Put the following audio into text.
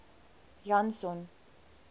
janson